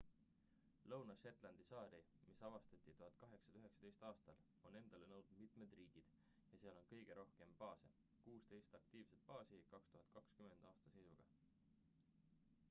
lõuna-shetlandi saari mis avastati 1819 aastal on endale nõudnud mitmed riigid ja seal on kõige rohkem baase - 16 aktiivset baasi 2020 aasta seisuga